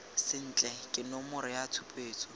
sentle ka nomoro ya tshupetso